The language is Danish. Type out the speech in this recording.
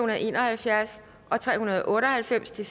og en og halvfjerds og tre hundrede og otte og halvfems til